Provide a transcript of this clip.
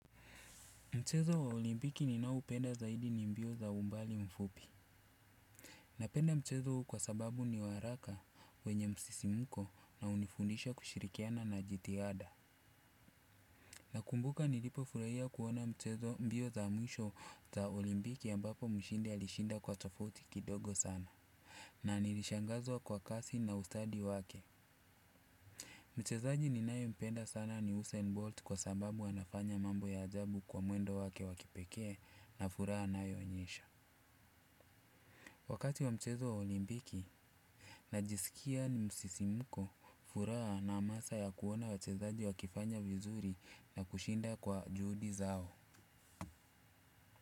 Mchezo wa olimbiki ninao upenda zaidi ni mbio za umbali mfupi. Napenda mchezo huu kwa sababu ni wa haraka wenye msisimko na unifundisha kushirikiana na jithiada. Nakumbuka nilipo furahia kuona mchezo mbio za mwisho za olimpiki ambapo mshindi alishinda kwa tofauti kidogo sana. Na nilishangazwa kwa kasi na ustadi wake. Mchezaji ninaye mpenda sana ni Usain Bolt kwa sababu anafanya mambo ya ajabu kwa mwendo wake wa kipekee na furaha anayo onyesha. Wakati wa mchezo wa olimpiki najisikia ni msisimko furaha na amasa ya kuona wachezaji wakifanya vizuri na kushinda kwa juhudi zao.